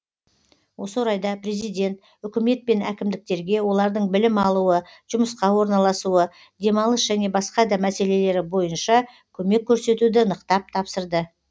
осы орайда президент үкімет пен әкімдіктерге олардың білім алуы жұмысқа орналасуы демалыс және басқа да мәселелері бойынша көмек көрсетуді нықтап тапсырды